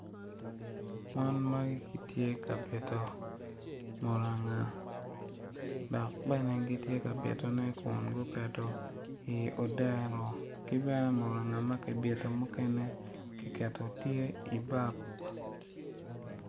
Mon magi gitye ka bito muranga dok bene gitye ka bitone kun guketo i odero ki bene muranga ma kibiton mukene kiketo tye i bok.